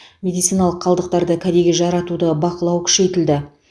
медициналық қалдықтарды кәдеге жаратуды бақылау күшейтілді